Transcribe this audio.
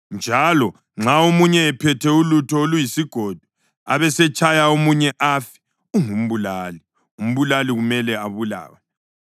Njalo nxa omunye ephethe ulutho oluyisigodo abesetshaya omunye afe, ungumbulali; umbulali kumele abulawe.